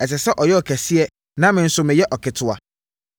Ɛsɛ sɛ ɔyɛ ɔkɛseɛ na me nso meyɛ ɔketewa.